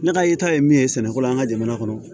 Ne ka yeta ye min ye sɛnɛko la an ka jamana kɔnɔ